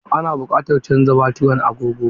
Ana buƙatar canza baturin agogo.